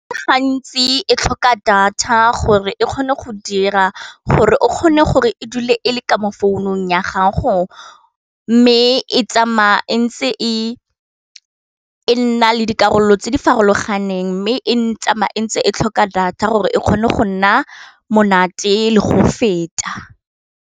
Gantsi e tlhoka data gore e kgone go dira gore o kgone gore e dule e le ka mo founung ya gago, mme e tsamaya e ntse e na le dikarolo tse di farologaneng mme e ntsamaya e ntse e tlhoka data gore e kgone go nna monate le go feta.